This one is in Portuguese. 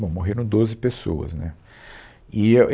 Bom, morreram doze pessoas, né? E eu,